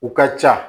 U ka ca